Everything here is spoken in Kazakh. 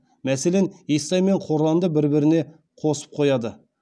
мәселен естай мен қорланды бір біріне қосып қояды